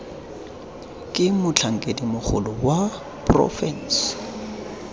ke motlhankedi mogolo wa porofense